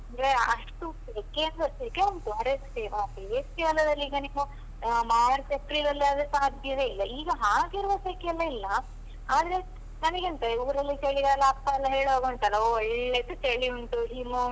ಅಂದ್ರೆ ಅಷ್ಟು ಸೆಕೆ ಅಂದ್ರೆ ಸೆಕೆ ಉಂಟು ಬೇಸಿಗೆಗಾಲದಲ್ಲಿ ಈಗ ನೀವು ಆ ಮಾರ್ಚ್ ಏಪ್ರಿಲ್ ಅಲ್ಲಾದ್ರೆ ಸಾಧ್ಯವೇ ಇಲ್ಲ. ಈಗ ಹಾಗೆಲ್ಲ ಸೆಕೆಯೆಲ್ಲ ಇಲ್ಲ, ಆದ್ರೆ ನನಗೆಂತ ಈಗ ಊರಲ್ಲಿ ಚಳಿಗಾಲ ಅಪ್ಪಯೆಲ್ಲ ಹೇಳುವಾಗ ಉಂಟಲ್ಲಾ, ಒಳ್ಳೆದು ಚಳಿ ಉಂಟು,